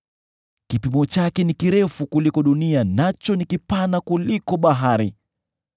Kipimo chake ni kirefu kuliko dunia, nacho ni kipana kuliko bahari.